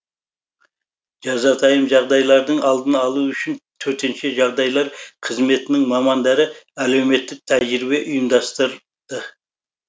жазатайым жағдайлардың алдын алу үшін төтенше жағдайлар қызметінің мамандары әлеуметтік тәжірибе ұйымдастырды